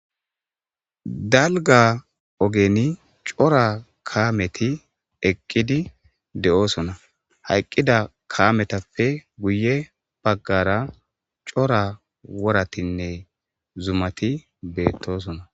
Dalga ogeni cora kaameti eqqidi de'oosona hayqqida kametappe guye baggara cora woratinne zumati beettoosona.